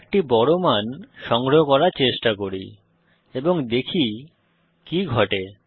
একটি বড় মান সংগ্রহ করার চেষ্টা করি এবং দেখি কি ঘটে